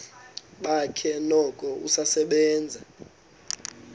bakhe noko usasebenza